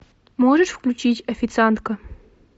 можешь включить официантка